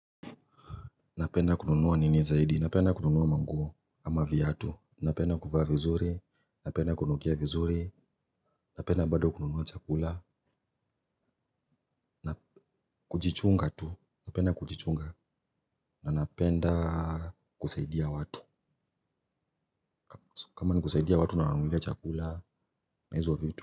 Napenda kununuwa nini zaidi, napenda kununuwa manguo ama viatu, napenda kufaa vizuri, napenda kununukia vizuri, napenda bado kununuwa chakula, na kujichunga tu, napenda kujichunga, na napenda kusaidia watu, kama ni kusaidia watu na wanunulia chakula na hizo vitu.